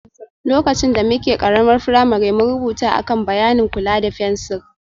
Lokacin da muke ƙaramar firamare, mun rubuta a kan bayanin kula da fensir